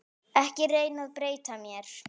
Ekki reyna að breyta mér.